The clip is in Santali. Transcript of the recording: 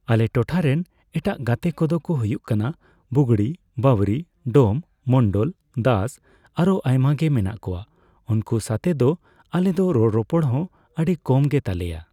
ᱟᱞᱮ ᱴᱚᱴᱷᱟᱨᱮᱱ ᱮᱴᱟᱜ ᱜᱟᱛᱮ ᱠᱚᱫᱚ ᱠᱚ ᱦᱩᱭᱩᱜ ᱠᱟᱱᱟ ᱵᱩᱜᱲᱤ, ᱵᱟᱣᱨᱤ, ᱰᱚᱢ, ᱢᱚᱱᱰᱚᱞ, ᱫᱟᱥ, ᱟᱨᱚ ᱟᱭᱢᱟᱜᱮ ᱢᱮᱱᱟᱜ ᱠᱚᱣᱟ ᱾ᱩᱱᱠᱩ ᱥᱟᱛᱮᱜ ᱫᱚ ᱟᱞᱮᱫᱚ ᱨᱚᱲ ᱨᱚᱯᱚᱲ ᱦᱚᱸ ᱟᱹᱰᱤ ᱠᱚᱢ ᱜᱮᱛᱟᱞᱮᱭᱟ ᱾